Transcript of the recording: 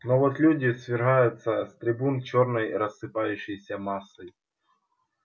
но вот люди свергаются с трибун чёрной рассыпающейся массой